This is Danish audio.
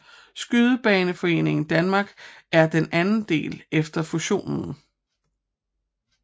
Skydebaneforeningen Danmark er den anden del efter fusionen